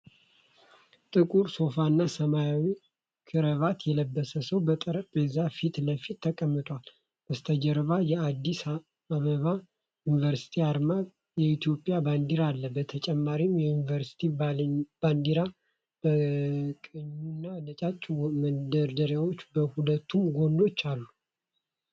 ጥቁር ሱፍና ሰማያዊ ክራቫት የለበሰ ሰው በጠረጴዛ ፊት ለፊት ተቀምጧል። በስተጀርባ የአዲስ አበባ ዩኒቨርሲቲ አርማና የኢትዮጵያ ባንዲራ አለ። በተጨማሪም የዩኒቨርሲቲው ባንዲራ በቀኙና ነጫጭ መደርደሪያዎች በሁለቱም ጎኖች አሉ።